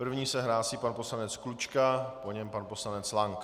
První se hlásí pan poslanec Klučka, po něm pan poslanec Lank.